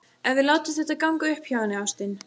Ef við látum þetta ganga upp hjá henni, ástin.